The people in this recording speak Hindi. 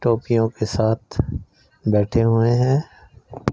टॉफियों के साथ बैठे हुए हैं।